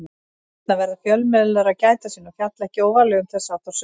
Þarna verða fjölmiðlar að gæta sín og fjalla ekki óvarlega um þess háttar sögur.